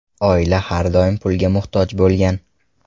Oila har doim pulga muhtoj bo‘lgan.